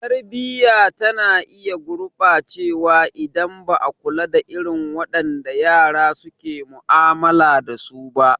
Tarbiyya tana iya gurɓacewa idan ba a kula da irin wadanda yara suke mu'amala dasu ba.